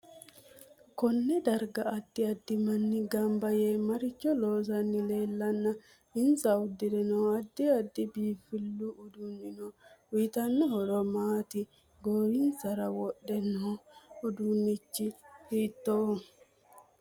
Konne darga addi addi manni ganbba yee maricho loosani leelana inse udire noo addi addi biinfilu uddanno uyiitanno horo maati goowinsara wodhe noo uduunichi hiitooho